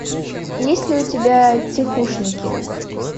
есть ли у тебя тихушники